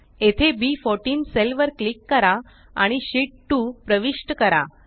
येथे बी14 सेल वर क्लिक करा आणि शीत 2 प्रविष्ट करा